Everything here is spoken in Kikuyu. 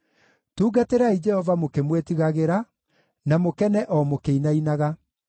Tungatĩrai Jehova mũkĩmwĩtigagĩra, na mũkene o mũkĩinainaga.